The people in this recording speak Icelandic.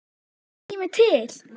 Er ekki kominn tími til?